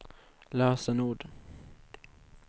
lösenord